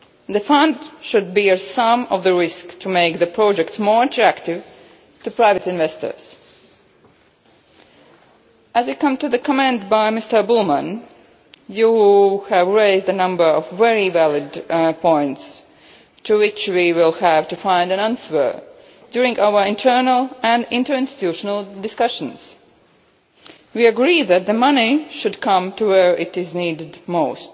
The fund should bear some of the risk, so as to make the projects more attractive to private investors. With regard to your comment, Mr Bullmann, you have raised a number of very valid points to which we will have to find answers during our internal and interinstitutional discussions. We agree that the money should come to where it